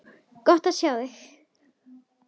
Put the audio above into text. Gott á þig.